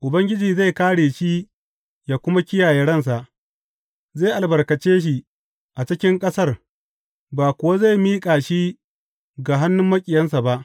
Ubangiji zai kāre shi yă kuma kiyaye ransa; zai albarkace shi a cikin ƙasar ba kuwa zai miƙa shi ga hannun maƙiyansa ba.